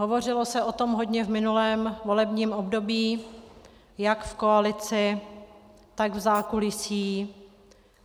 Hovořilo se o tom hodně v minulém volebním období jak v koalici, tak v zákulisí.